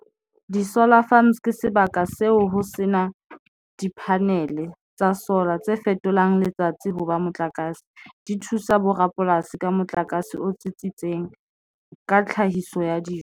Di-solar farms ke sebaka seo ho sena di-panel tsa solar tse fetolang letsatsi hoba motlakase di thusa bo rapolasi ka motlakase o tsitsitseng ka tlhahiso ya dijo.